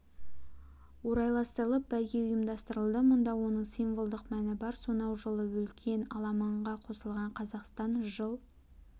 орайластырып бәйге ұйымдастырылды мұнда оның символдық мәні бар сонай жылы үлкен аламанға қосылған қазақстан жыл